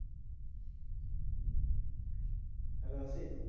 Hello Asit